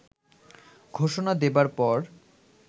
ঘোষণা দেবার পর